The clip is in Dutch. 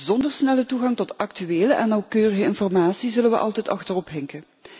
Zonder snelle toegang tot actuele en nauwkeurige informatie zullen we altijd achterop hinken.